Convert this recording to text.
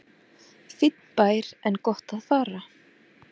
Fínn bær en gott að fara